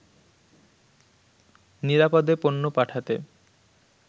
নিরাপদে পণ্য পাঠাতে